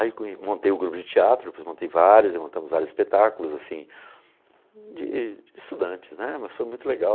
Aí montei o grupo de teatro, depois montei vários, montamos vários espetáculos assim, de de estudantes, mas foi muito legal.